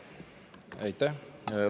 Aitäh!